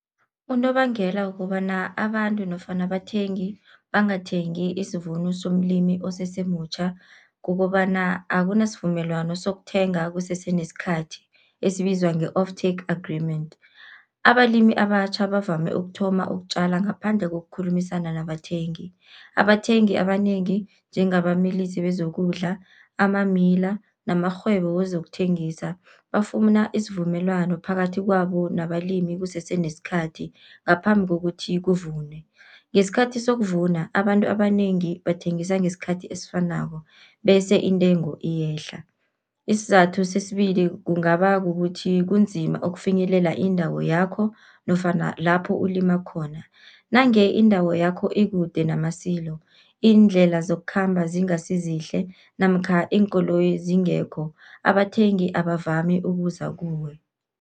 Unobangela kukobana abantu nofana abathengi bangathengi isivuno somlimi osesemutjha, kukobana akunasivumelwano sokuthenga kusese nesikhathi esibizwa nge-off take agreement. Abalimi abatjha bavame ukuthoma ukutjala ngaphandle kokukhulumisana nabathengi, abathengi abanengi njengabamilisi bezokudla, ama-miller namarhwebo wezokuthengisa bafumana isivumelwano phakathi kwabo nabalimi kusese nesikhathi ngaphambi kokuthi kuvunwe. Ngesikhathi sokuvuna abantu abanengi bathengisa ngesikhathi esifanako, bese intengo iyehla. Isizathu sesibili kungaba kukuthi kunzima ukufinyelela indawo yakho nofana lapho ulima khona. Nange indawo yakho ikude nama-silo, iindlela zokukhamba zingasi zihle namkha iinkoloyi zingekho, abathengi abavami ukuza kuwe.